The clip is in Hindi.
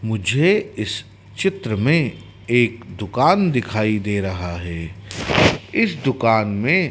मुझे इस चित्र में एक दुकान दिखाई दे रहा है इस दुकान में--